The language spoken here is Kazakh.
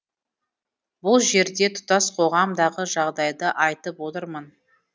бұл жерде тұтас қоғамдағы жағдайды айтып отырмын